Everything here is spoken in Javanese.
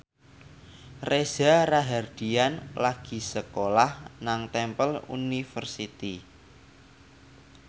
Reza Rahardian lagi sekolah nang Temple University